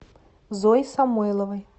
зое самойловой